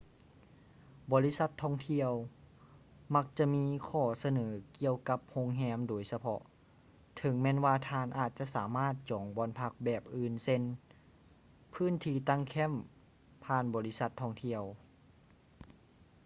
ບໍລິສັດທ່ອງທ່ຽວມັກຈະມີຂໍ້ສະເໜີກ່ຽວກັບໂຮງແຮມໂດຍສະເພາະ ເຖິງແມ່ນວ່າທ່ານອາດຈະສາມາດຈອງບ່ອນພັກແບບອື່ນເຊັ່ນ ພື້ນທີ່ຕັ້ງແຄັມຍຜ່ານບໍລິສັດທ່ອງທ່ຽວ